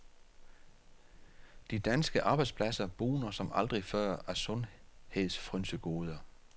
De danske arbejdspladser bugner som aldrig før af sundhedsfrynsegoder.